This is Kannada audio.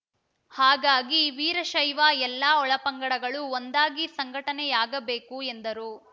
ಹಾಗಾಗಿ ವೀರಶೈವ ಎಲ್ಲ ಒಳಪಂಗಡಗಳು ಒಂದಾಗಿ ಸಂಘಟನೆಯಾಗಬೇಕು ಎಂದರು